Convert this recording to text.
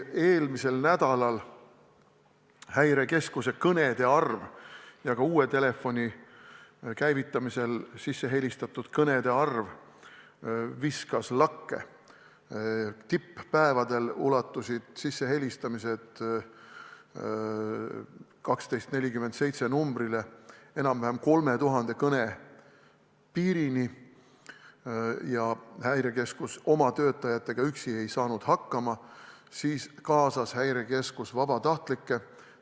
Eelmisel nädalal viskas Häirekeskuse kõnede arv ja ka uue käivitatud telefonumbrile helistatud kõnede arv lakke – tipp-päevadel ulatusid sissehelistamised numbrile 1247 enam-vähem 3000 kõne piirini, nii et Häirekeskus ei saanud enam oma töötajatega hakkama ja kaasas vabatahtlike.